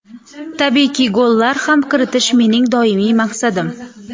Tabiiyki, gollar ham kiritish mening doimiy maqsadim.